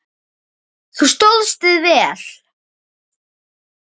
Þú stóðst þig vel.